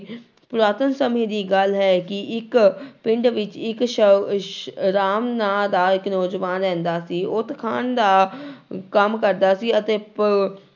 ਪੁਰਾਤਨ ਸਮੇਂ ਦੀ ਗੱਲ ਹੈ ਕਿ ਇੱਕ ਪਿੰਡ ਵਿੱਚ ਇੱਕ ਰਾਮ ਨਾਂ ਦਾ ਇੱਕ ਨੌਜਵਾਨ ਰਹਿੰਦਾ ਸੀ ਉਹ ਤਖਾਣ ਦਾ ਕੰਮ ਕਰਦਾ ਸੀ ਅਤੇ ਪ